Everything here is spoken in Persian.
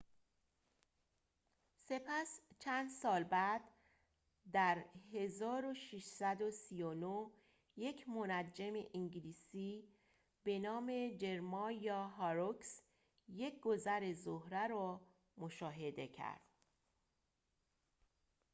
سپس چند سال بعد در ۱۶۳۹ یک منجم انگلیسی به نام جرمایا هاروکس یک گذر زهره را مشاهده کرد